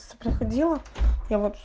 с проходила я вот